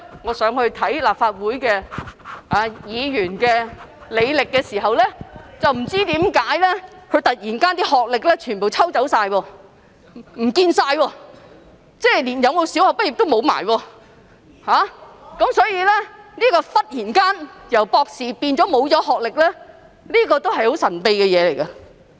我在立法會網頁查看議員的履歷時，她的學歷不知何故突然全部消失——連小學畢業的資料也沒有——忽然間由博士變成甚麼學歷也沒有，我覺得這是很神秘的事。